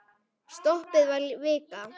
Stoppið var vika.